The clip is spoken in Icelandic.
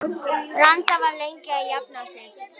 Branda var lengi að jafna sig.